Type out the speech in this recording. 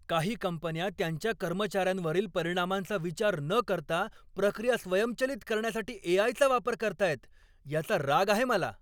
काही कंपन्या त्यांच्या कर्मचाऱ्यांवरील परिणामांचा विचार न करता प्रक्रिया स्वयंचलित करण्यासाठी ए. आय. चा वापर करतायत याचा राग आहे मला.